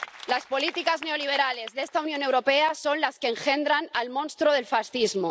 Las políticas neoliberales de esta Unión Europea son las que engendran el monstruo del fascismo.